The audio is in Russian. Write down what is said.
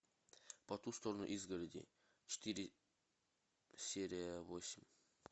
по ту сторону изгороди четыре серия восемь